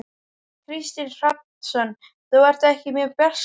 Kristinn Hrafnsson: Þú ert ekki mjög bjartsýn?